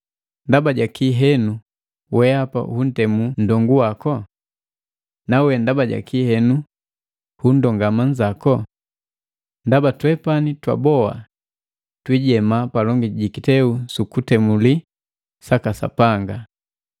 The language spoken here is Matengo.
Ndaba jakii henu weapa huntemu nndongu waku? Nawe, ndaba jaki henu hundongama nzako? Ndaba twepani twaboa twiijema palongi jikiteu sukutemuli saka Sapanga.